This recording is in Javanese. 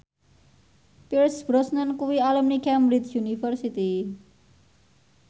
Pierce Brosnan kuwi alumni Cambridge University